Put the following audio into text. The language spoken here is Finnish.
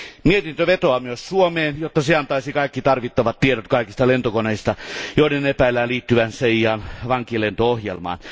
Mietintö vetoaa myös Suomeen, jotta se antaisi kaikki tarvittavat tiedot kaikista lentokoneista, joiden epäillään liittyvän CIAn vankilento ohjelmaan.